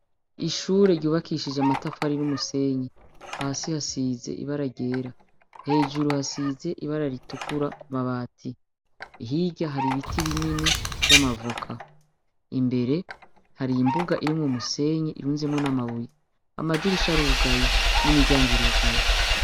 Ishure ryubakishije amatafari n'umusenyi hasi hasize ibararera hejuru hasize ibara ritukura ku mabati hira hari ibiti binini vy'amavoka imbere hari imbuga irimwo musenyi irunzemwo n'amabuye amadirisha rugayi n'imiryango irugayi.